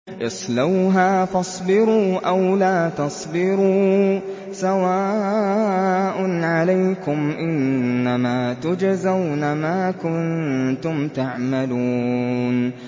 اصْلَوْهَا فَاصْبِرُوا أَوْ لَا تَصْبِرُوا سَوَاءٌ عَلَيْكُمْ ۖ إِنَّمَا تُجْزَوْنَ مَا كُنتُمْ تَعْمَلُونَ